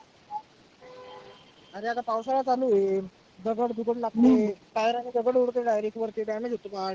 आरे आता पावसाळा चालू होईल. दगड दुगड लागते, काळ्या रानी दगड उडते direct उडते वरती damage होतो part